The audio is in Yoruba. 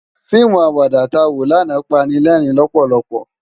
Fiimú àwàdá tá wó làná pàni lèrin lòpòlòpò